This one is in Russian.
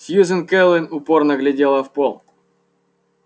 сьюзен кэлвин упорно глядела в пол